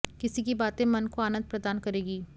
किसी की बातें मन को आनंद प्रदान करेगी